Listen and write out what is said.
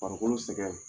Farikolo sɛgɛn